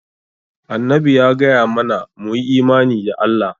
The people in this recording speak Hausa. Annabi ya gaya mana mu yi imani da Allah.